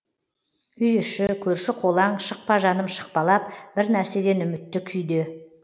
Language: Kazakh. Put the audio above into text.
үй іші көрші қолаң шықпа жаным шықпалап бір нәрседен үмітті күйде